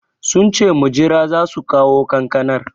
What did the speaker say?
Sunce mujira zasu kawo kankanar